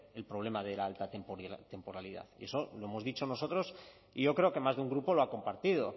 el problema de la alta temporalidad y eso lo hemos dicho nosotros y yo creo que más de un grupo lo ha compartido